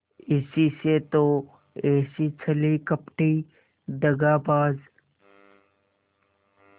इसी से तो ऐसी छली कपटी दगाबाज